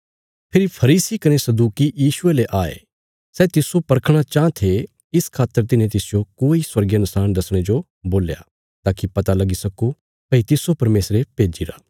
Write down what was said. फेरी फरीसी कने सदूकी यीशुये ले आये सै तिस्सो परखणा चाँह थे इस खातर तिन्हे तिसजो कोई स्वर्गीय नशाण दसणे जो बोल्या ताकि पता लगी सक्को भई तिस्सो परमेशरे भेज्जिरा